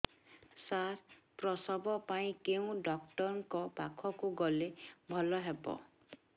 ସାର ପ୍ରସବ ପାଇଁ କେଉଁ ଡକ୍ଟର ଙ୍କ ପାଖକୁ ଗଲେ ଭଲ ହେବ